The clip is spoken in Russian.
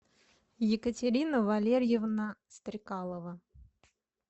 екатерина валерьевна стрекалова